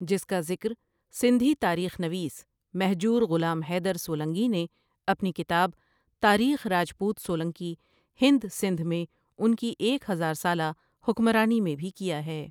جس کا ذکر سندھی تاریخ نویس مھجور غلام حیدر سولنگی نے اپنی کتاب تاریخ راجپوت سولنکی ھند سندھ میں انکی ایک ھزار سالا حکمرانی میں بھی کیا ھے ۔